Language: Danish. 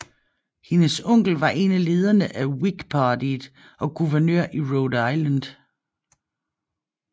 Hendes onkel var en af lederne af Whig Partiet og guvernør i Rhode Island